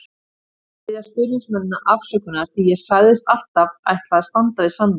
Ég vil biðja stuðningsmennina afsökunar því ég sagðist alltaf ætla að standa við samninginn.